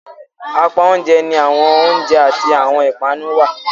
Apá oúnjẹ ni awọn oiunjẹ ati awọtn ipanu wà.